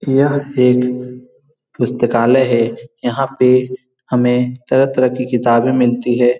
यह एक पुस्तकालय है यहाँ पे हमें तरह-तरह की किताबें मिलती हैं।